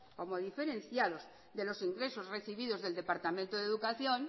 como diferenciados de los ingresos recibidos del departamento de educación